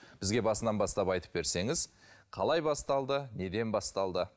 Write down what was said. бізге басынан бастап айтып берсеңіз қалай басталды неден басталды